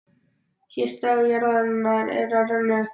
Síðasti dagur jarðarinnar er að renna upp.